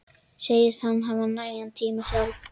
Segist hafa nægan tíma sjálf.